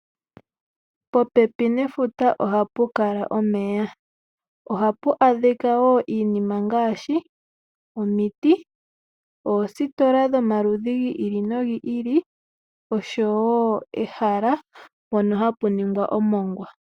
Popepi nefuta ohapu kala omeya. Ohapu adhika wo iinima ngaashi omuti oositola dhomaludhi gi ili nogi ili, oshowo ehala mpono hapu ningwa omongwa.